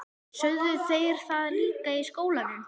Sögðu þeir það líka í skólanum?